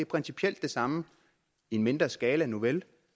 principielt det samme i en mindre skala nuvel